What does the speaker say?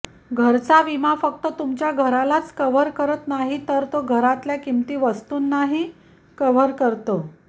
घराचा विमा फक्त तुमच्या घरालाच कव्हर करत नाही तर तो घरातल्या किमती वस्तूंनाही कव्हर करतो